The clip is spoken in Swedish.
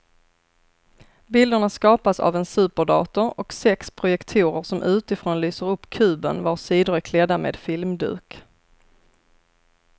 Bilderna skapas av en superdator och sex projektorer som utifrån lyser upp kuben vars sidor är klädda med filmduk.